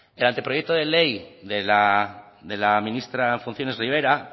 el anteproyecto de ley de la ministra en funciones ribera